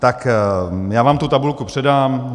Tak já vám tu tabulku předám.